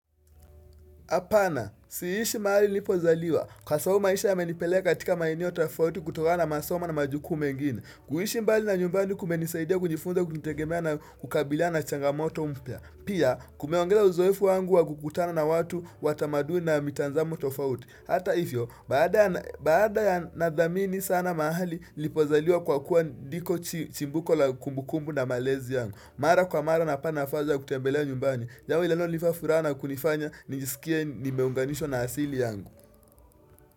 Apana, siishi mahali nipozaliwa. Kwa sababu maisha ya menipeleka katika maeneo tofauti kutoka na masoma na majukumu mengine. Kuhishi mbali na nyumbani kumenisaidia kujifunza kujitegemea na kukabiliana na changamoto mpya. Pia, kumeongeza uzoefu wangu wa kukutana na watu watamaduni na mitanzamo tofauti. Hata hivyo, baada ya nadhamini sa na mahali nipozaliwa kwa kuwa ndiko chimbuko la kumbukumbu na malezi yangu. Mara kwa mara na pana afaza kutembelea nyumbani Jambo linalo nipafuraha kunifanya nijisikie nimeunganishwa na asili yangu.